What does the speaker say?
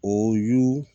O y'u